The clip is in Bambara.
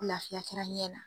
Laafiya kɛra ɲɛ la.